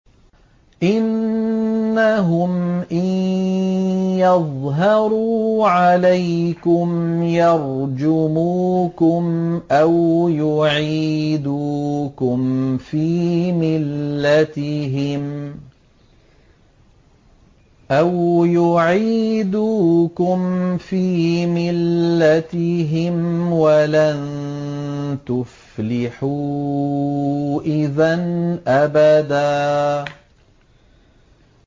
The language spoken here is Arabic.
إِنَّهُمْ إِن يَظْهَرُوا عَلَيْكُمْ يَرْجُمُوكُمْ أَوْ يُعِيدُوكُمْ فِي مِلَّتِهِمْ وَلَن تُفْلِحُوا إِذًا أَبَدًا